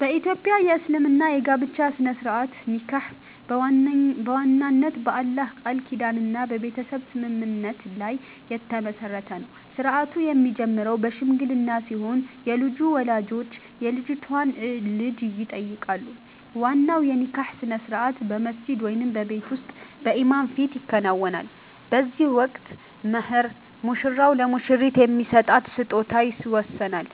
በ ኢትዮጵያ እስልምና የጋብቻ ሥነ-ሥርዓት (ኒካህ) በዋናነት በአላህ ቃል ኪዳንና በቤተሰብ ስምምነት ላይ የተመሠረተ ነው። ሥርዓቱ የሚጀምረው በሽምግልና ሲሆን፣ የልጁ ወላጆች የልጅቷን እጅ ይጠይቃሉ። ዋናው የኒካህ ሥነ-ሥርዓት በመስጂድ ወይም በቤት ውስጥ በኢማም ፊት ይከናወናል። በዚህ ወቅት "መህር" (ሙሽራው ለሙሽሪት የሚሰጣት ስጦታ) ይወሰናል፤